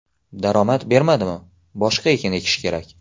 Daromad bermadimi, boshqa ekin ekish kerak.